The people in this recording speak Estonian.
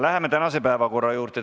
Läheme tänaste päevakorrapunktide juurde.